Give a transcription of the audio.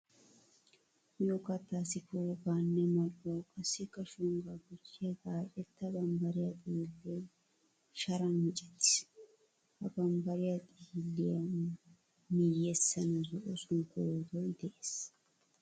Miyo kattaassi poogaa nne mal"uwa qassikka shonggaa gujjiya gaacetta bambbariya xiillee sharan micettiis. Ha bambbariya xiilliya miyyessan zo'o sunkkuruutoy de'es.